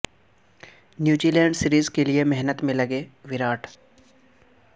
New Zealand series کے لیے محنت میں لگے وراٹ